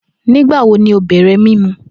Nigbawo ni o bẹrẹ mimu?